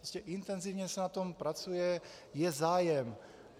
Prostě intenzivně se na tom pracuje, je zájem.